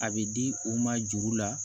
A bɛ di u ma juru la